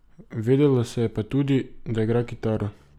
Vedelo se je pa tudi, da igra kitaro.